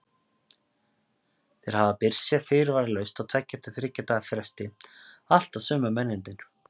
Þeir hafa birst hér fyrirvaralaust á tveggja til þriggja daga fresti, alltaf sömu mennirnir.